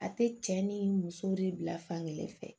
A tɛ cɛ ni muso de bila fan kelen fɛ